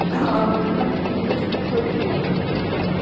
যদি আমি investmentwise বলি